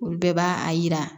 Olu bɛɛ b'a a yira